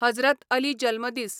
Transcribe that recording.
हजरत अली जल्मदीस